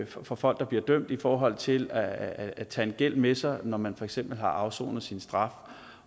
for folk der bliver dømt i forhold til at at tage en gæld med sig når man for eksempel har afsonet sin straf